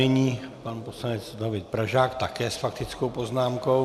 Nyní pan poslanec David Pražák také s faktickou poznámkou.